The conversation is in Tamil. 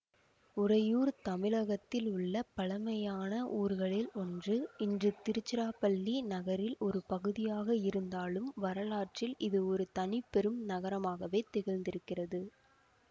உறையூர் தமிழகத்தில் உள்ள பழைமையான ஊர்களில் ஒன்று இன்று திருச்சிராப்பள்ளி நகரில் ஒரு பகுதியாக இருந்தாலும் வரலாற்றில் இது ஒரு தனிபெரும் நகரமாகவே திகழ்ந்திருக்கிறது